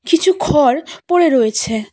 কিছু খড় পড়ে রয়েছে।